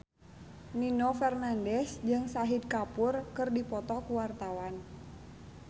Nino Fernandez jeung Shahid Kapoor keur dipoto ku wartawan